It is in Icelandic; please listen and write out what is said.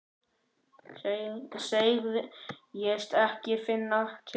Segist ekki finna til.